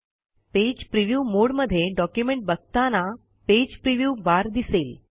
page preview mode मध्ये document बघताना page preview bar दिसेल